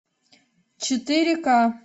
четыре ка